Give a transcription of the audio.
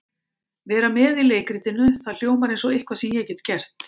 Vera með í leikritinu, það hljómar eins og eitthvað sem ég get gert.